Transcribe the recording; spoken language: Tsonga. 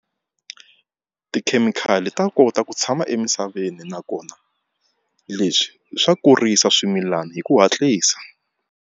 Tikhemikhali ta kota ku tshama emisaveni nakona leswi swa kurisa swimilana hi ku hatlisa.